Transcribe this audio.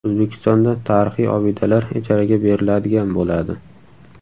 O‘zbekistonda tarixiy obidalar ijaraga beriladigan bo‘ladi.